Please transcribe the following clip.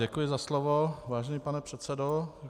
Děkuji za slovo, vážený pane předsedo.